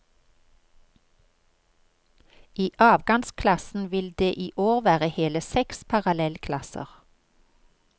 I avgangsklassen vil det i år være hele seks parallellklasser.